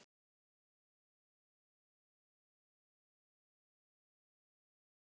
Stína giftist sér.